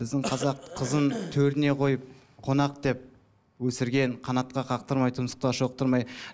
біздің қазақ қызын төріне қойып қонақ деп өсірген қанаттыға қақтырмай тұмсықтыға шоқтырмай